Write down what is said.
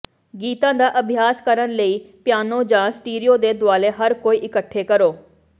ਗੀਤਾਂ ਦਾ ਅਭਿਆਸ ਕਰਨ ਲਈ ਪਿਆਨੋ ਜਾਂ ਸਟੀਰੀਓ ਦੇ ਦੁਆਲੇ ਹਰ ਕੋਈ ਇਕੱਠੇ ਕਰੋ